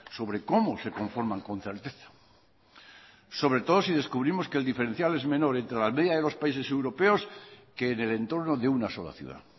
sobre cómo se conforman con certeza sobre todo si descubrimos que el diferencial es menor entre la media de los países europeos que en el entorno de una sola ciudad